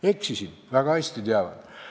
Eksisin, väga hästi teavad.